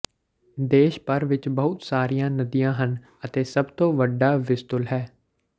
ਦੇਸ਼ ਭਰ ਵਿੱਚ ਬਹੁਤ ਸਾਰੀਆਂ ਨਦੀਆਂ ਹਨ ਅਤੇ ਸਭ ਤੋਂ ਵੱਡਾ ਵਿਸਤੁਲ ਹੈ